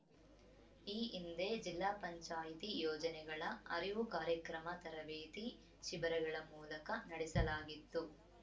ಈ ಹಿಂದೆ ಜಿಲ್ಲಾ ಪಂಚಾಯ್ತಿ ಯೋಜನೆಗಳ ಅರಿವು ಕಾರ್ಯಕ್ರಮ ತರಬೇತಿ ಶಿಬಿರಗಳ ಮೂಲಕ ನಡೆಸಲಾಗಿತ್ತು